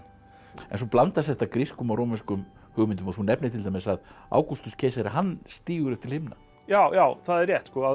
en svo blandast þetta grískum og rómverskum hugmyndum og þú nefnir til dæmis að Ágústus keisari hann stígur upp til himna já já það er rétt að